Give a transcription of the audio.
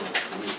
Mənsiz.